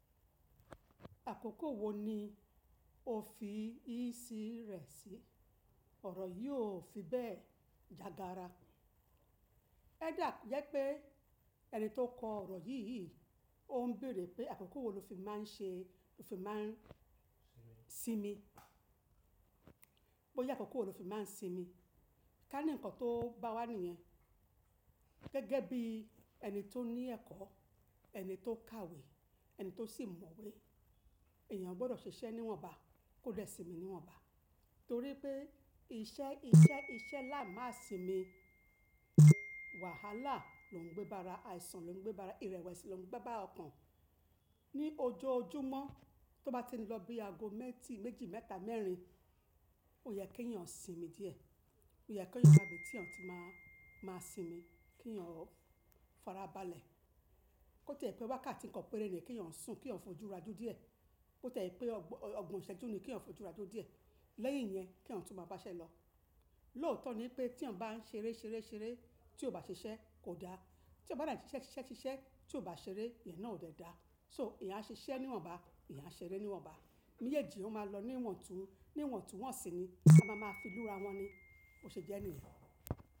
Àkókò wo ni o fi ìsí rẹ̀ sí? Ọ̀rọ̀ yìí ò fi bẹ́ẹ̀ jagara. Ẹ dà ko jé pé ẹni tó kọ ọ̀rọ̀ yìí, òun béèrè pé àkókò wo lo fi máa ń ṣe, lo fi máa ń sinmi. Bó ya àkókò wo lo fi máa ń sinmi. Ká ní ǹkan tó bá wá nìyẹn. Gẹ́gẹ́ bí ẹni tó ní ẹ̀kọ́, ẹni tó kàwé, ẹni tó sì mọ̀wé, èèyàn gbọ́dọ̀ ṣiṣẹ́ níwọ̀nba, kó dẹ́ sinmi níwọ̀nba. Torí pé iṣẹ́, iṣẹ́, iṣẹ́ lá máa sinmi. Wàhálà ló ń gbé bara, àìsàn ló ń gbé bara, ìrẹ̀wẹ̀sì ló ń gbé bá ọkàn. Ní ojú ojúmọ́, tó bá ti lọ bí ago mẹ́ẹ̀tí, méjì, mẹ́ta, mẹ́rin, ó yẹ kí èèyàn sinmi díẹ̀. Ó yẹ kí ó yàgbẹ́ tí èèyàn tí máa, máa sinmi, kí èèyàn fara balẹ̀. Ó tẹ́ẹ̀ pé wákàtí kan pẹ́rẹ́ ni kí èèyàn sùn, kí èèyàn fojú ra jú díẹ̀. Ó tẹ́ je pé ọgbọ̀n ìṣẹ́jú ni kí èèyàn fojú ra jú díẹ̀. Lẹ́yìn yẹn kí èèyàn tu máa bá ṣẹ́ lọ. Lóòótọ́ ni pé tí èèyàn bá ń ṣeré ṣeré ṣeré, tí ó bá ṣiṣẹ́ kò da. Tí ò bá dà ní ṣiṣẹ́ ṣiṣẹ́ ṣiṣẹ́, tí ó bá ṣeré, ìyẹn náà ò dẹ da. So èèyàn á ṣiṣẹ́ níwọ̀nba, èèyàn á ṣeré níwọ̀nba. Mejeèjì ó máa lọ níwọ̀n tún, níwọ̀n tún wọ́n sì ni, a máa máa fi ìlú ra wọ́n ni. Bo ṣe jẹ́ nìyen.